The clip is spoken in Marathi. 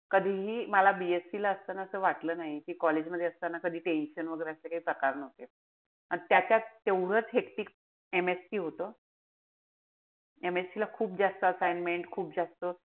कधीही मला BSC ला असताना काई वाटलं नाई. कि college मध्ये असताना कधी tension वगैरे असे काई प्रकार नव्हते. अन त्याच्यात तेवढंच hectic MSC होत. MSC ला खूप जास्त assignment, खूप जास्त,